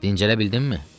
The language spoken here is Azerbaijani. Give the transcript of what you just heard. Dincələ bildinmi?